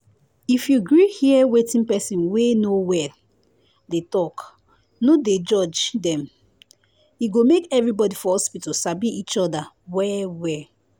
if you gree hear wetin person wey no well dey talk no dey judge dem e go make everybody for hospital sabi each other well-well